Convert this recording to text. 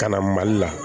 Ka na mali la